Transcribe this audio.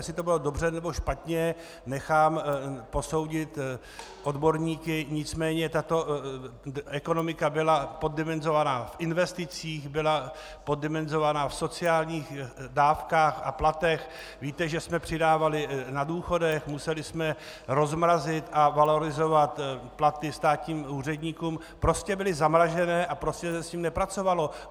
Jestli to bylo dobře, nebo špatně, nechám posoudit odborníky, nicméně tato ekonomika byla poddimenzovaná v investicích, byla poddimenzována v sociálních dávkách a platech, víte, že jsme přidávali na důchodech, museli jsme rozmrazit a valorizovat platy státním úředníkům, prostě byly zamrazené a prostě se s tím nepracovalo.